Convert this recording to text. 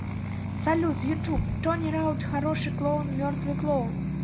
салют ютуб тони раут хороший клоун мертвый клоун